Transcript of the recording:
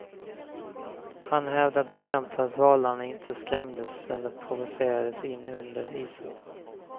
Han hävdar bestämt att valarna inte skrämdes eller provocerades in under isen.